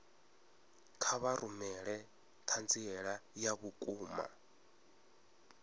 kha vha rumele ṱhanziela ya vhukuma